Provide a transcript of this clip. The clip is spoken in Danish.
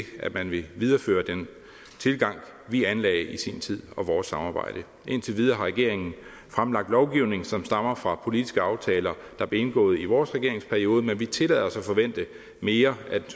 at man vil videreføre den tilgang vi anlagde i sin tid og vores samarbejde indtil videre har regeringen fremlagt lovgivning som stammer fra politiske aftaler der blev indgået i vores regeringsperiode men vi tillader os at forvente mere af den